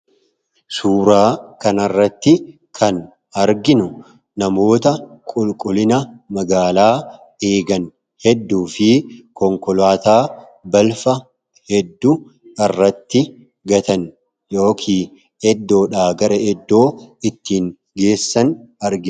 Suuraa kana irratti kan arginu namoota qulqullina magaalaa eegan hedduu fi konkolaataa balfa hedduu irratti gatan yookiin iddoodhaa gara iddoo ittiin geessan argina.